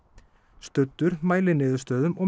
studdur mæliniðurstöðum og